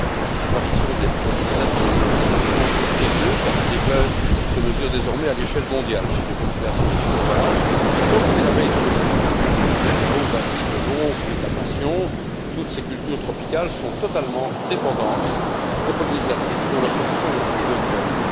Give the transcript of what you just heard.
La disparition des pollinisatrices est à prendre au sérieux, car le déclin se mesure désormais à l'échelle mondiale, chez les populations sauvages comme chez l'abeille domestique. Cacao, vanille, melon, fruit de la passion, toutes ces cultures tropicales sont totalement dépendantes des pollinisatrices pour leur production de fruits et de graines.